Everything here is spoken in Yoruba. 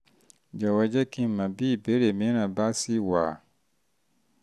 jọ̀wọ́ jẹ́ kí n mọ̀ bí ìbéèrè mìíràn bá ṣì wà